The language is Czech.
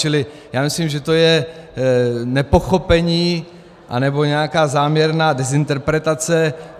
Čili já myslím, že to je nepochopení anebo nějaká záměrná dezinterpretace.